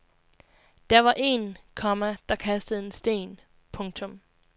Der var en, komma der kastede en sten. punktum